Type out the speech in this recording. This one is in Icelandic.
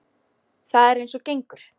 Það er eins og gengur.